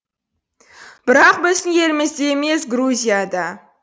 бірақ біздің елімізде емес грузияда